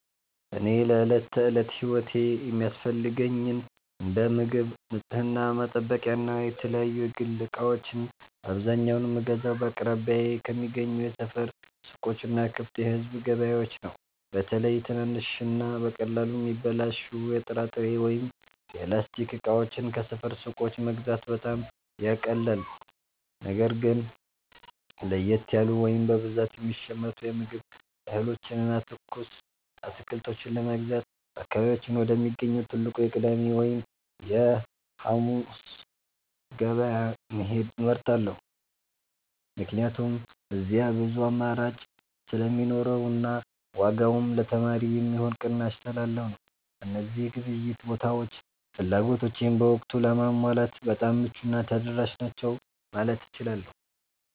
እኔ ለዕለት ተዕለት ሕይወቴ የሚያስፈልጉኝን እንደ ምግብ፣ የንጽሕና መጠበቂያና የተለያዩ የግል ዕቃዎችን በአብዛኛው የምገዛው በአቅራቢያዬ ከሚገኙ የሰፈር ሱቆችና ክፍት የሕዝብ ገበያዎች ነው። በተለይ ትናንሽና በቀላሉ የሚበላሹ የጥራጥሬ ወይም የላስቲክ ዕቃዎችን ከሰፈር ሱቆች መግዛት በጣም ያቃልላል። ነገር ግን ለየት ያሉ ወይም በብዛት የሚሸመቱ የምግብ እህሎችንና ትኩስ አትክልቶችን ለመግዛት በአካባቢያችን ወደሚገኘው ትልቁ የቅዳሜ ወይም የዓሙድ ገበያ መሄድን እመርጣለሁ፤ ምክንያቱም እዚያ ብዙ አማራጭ ስለሚኖርና ዋጋውም ለተማሪ የሚሆን ቅናሽ ስላለው ነው። እነዚህ የግብይት ቦታዎች ፍላጎቶቼን በወቅቱ ለማሟላት በጣም ምቹና ተደራሽ ናቸው ማለት እችላለሁ።